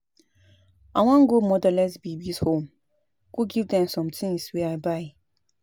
I wan go motherless babies' home go give dem some things wey I buy